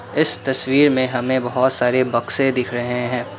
इस तस्वीर में हमें बहोत सारे बक्से दिख रहे हैं।